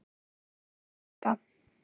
Þín Olga.